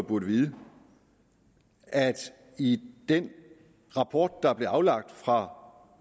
burde vide at i den rapport der blev aflagt fra